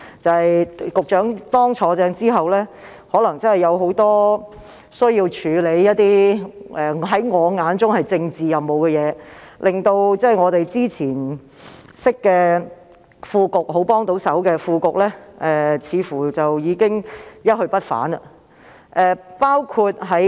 在局長正式上任後，他可能需要處理一些在我眼中屬政治任務的工作，令我們以往認識、很熱心的副局長似乎已一去不返。